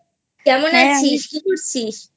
কেমন আছিস? কী করছিস?